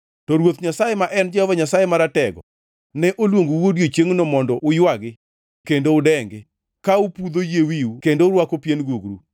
To Ruoth Nyasaye ma en Jehova Nyasaye Maratego, ne oluongou odiechiengno mondo uywagi kendo udengi, ka upudho yie wiu kendo urwako pien gugru.